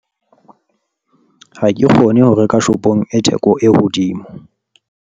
ha ke kgone ho reka shopong e theko e hodimo